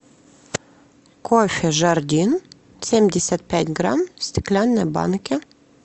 кофе жардин семьдесят пять грамм в стеклянной банке